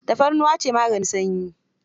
Tafarnuwa ce maganin sanyi.